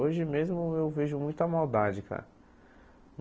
Hoje mesmo eu vejo muita maldade, cara.